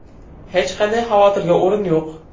Hech qanday xavotirga o‘rin yo‘q.